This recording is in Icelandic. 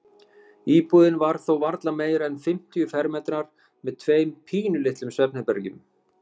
Íbúðin var þó varla meira en fimmtíu fermetrar með tveimur pínulitlum svefnherbergjum.